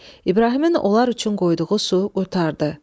İbrahimin onlar üçün qoyduğu su qurtardı.